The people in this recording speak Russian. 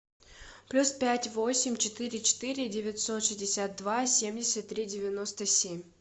плюс пять восемь четыре четыре девятьсот шестьдесят два семьдесят три девяносто семь